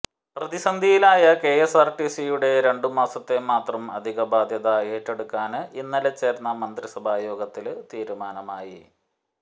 പ്രതിസന്ധിയിലായ കെഎസ്ആര്ടിസിയുടെ രണ്ടുമാസത്തെ മാത്രം അധികബാധ്യത ഏറ്റെടുക്കാന് ഇന്നലെ ചേര്ന്ന മന്ത്രിസഭാ യോഗത്തില് തീരുമാനമായി